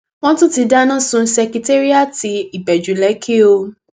wọn tún ti dáná sun sèkẹtéríàti ìbẹjú lekki o